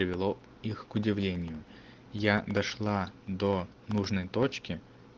привело их у удивлению я дошла до нужной точки